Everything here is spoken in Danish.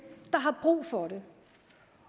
der har brug for det